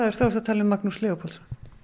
þá ertu að tala um Magnús Leópoldsson